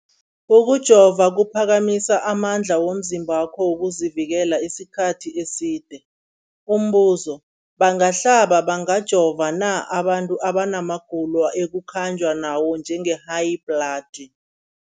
Ukujova kuphakamisa amandla womzimbakho wokuzivikela isikhathi eside. Umbuzo, bangahlaba, bangajova na abantu abana magulo ekukhanjwa nawo, njengehayibhladi?